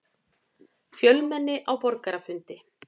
Fjölmenni á borgarafundi